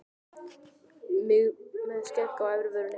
Mig með skegg á efri vörinni.